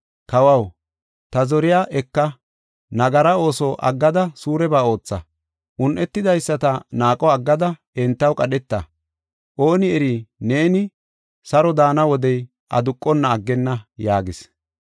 Kawaw, ta zoriya eka. Nagara ooso aggada suureba ootha; un7etidaysata naaqo aggada entaw qadheta. Ooni eri neeni saro daana wodey aduqonna aggenna” yaagis.